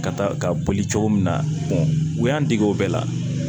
Ka taa ka boli cogo min na u y'an dege o bɛɛ la